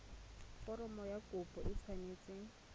foromo ya kopo e tshwanetse